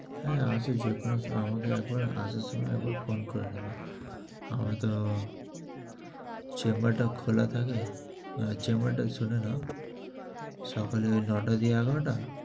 হ্যাঁ আছে, যখন আমাকে একবার আসার সময় একবার phone করে নেবে। আমার তো chamber টা খোলা থাকে, chamber টা শুনে নাও। সকালে নয়টা থেকে এগারোটা